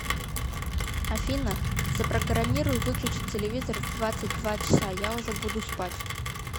афина запрограммируй выключить телевизор в двадцать два часа я уже буду спать